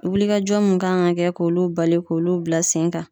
Wulikajɔ mun kan ka kɛ, k'olu bali k'olu bila sen kan.